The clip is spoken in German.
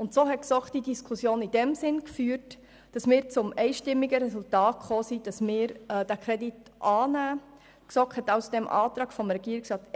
Die GSoK ist nach der Diskussion zum einstimmigen Resultat gekommen, dass der Kredit anzunehmen ist, und damit hat sie dem Antrag des Regierungsrats